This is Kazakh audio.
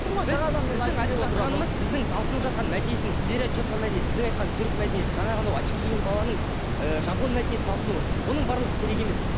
біздің айтып жатқанымыз біздің талпынып жатқан мәдениетіміз сіздер айтып жатқан мәдениет сіздің айтқан түрік мәдениеті жаңағы анау очки киген баланың ыыы жапон мәдениетіне талпынуы оның барлығы керек емес